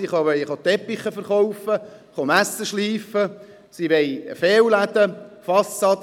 Sie wollen Teppiche verkaufen, Messer schleifen, sie wollen Fassadenarbeiten erledigen.